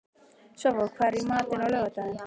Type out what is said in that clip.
Svava, hvað er í matinn á laugardaginn?